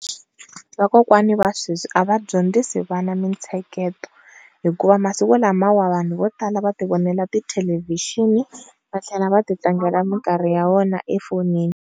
Vakokwani va sweswi a va dyondzisi vana mintsheketo hikuva masiku lama vanhu vo tala va ti vonela ti thelevixini va tlhela va ti tlangela minkarhi ya vona efowunini.